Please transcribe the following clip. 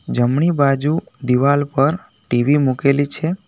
જમણી બાજુ દિવાલ પર ટી_વી મૂકેલી છે.